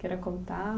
Queira contar?